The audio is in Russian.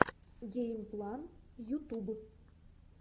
геймплан ютуб